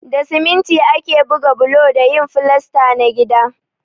Da siminti ake buga bulo da yin filasta na gida.